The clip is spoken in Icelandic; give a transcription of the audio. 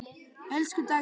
Elsku Dagný.